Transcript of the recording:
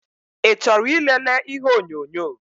I chọrọ ị lele ihe onyonyo?